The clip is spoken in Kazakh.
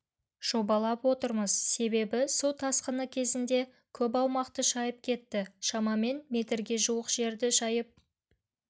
жобалап отырмыз себебі су тасқыны кезінде көп аумақты шайып кетті шамамен метрге жуық жерді шайып